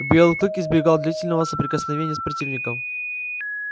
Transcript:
белый клык избегал длительного соприкосновения с противником